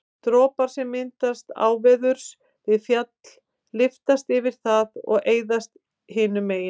dropar sem myndast áveðurs við fjall lyftast yfir það og eyðast hinu megin